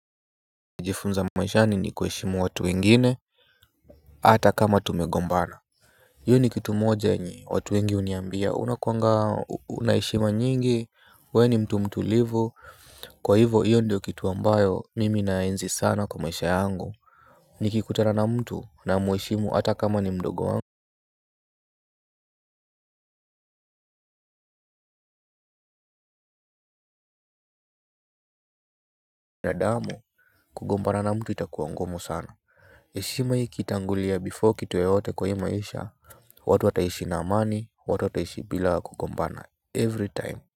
Nilijifunza maishani ni kuheshimu watu wengine hata kama tumegombana hio ni kitu moja yenye watu wengi huniambia unakuanga una heshima nyingi wewe ni mtu mtulivu kwa hivo hiyo ndio kitu ambayo nimi naenzi sana kwa maisha yangu. Nikikutana na mtu namweshimu hata kama ni mdogo wangu. Na damu kugombana na mtu itakua ngumu sana heshima ikitangulia before kitu yoyote kwa hii maisha watu wataishi na amani watu wataishi bila kugombana every time.